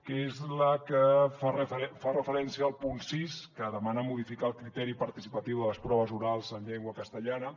que és la que fa referència al punt sis que demana modificar el criteri participatiu de les proves orals en llengua castellana